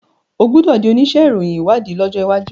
o gbódò dì onísé ìròyìn ìwádìí lójó waju.